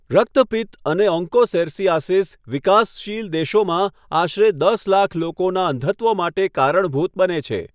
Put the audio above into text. રક્તપિત્ત અને ઓન્કોસેરસીઆસીસ વિકાસશીલ દેશોમાં આશરે દસ લાખ લોકોના અંધત્વ માટે કારણભૂત બને છે.